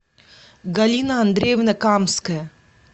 галина андреевна камская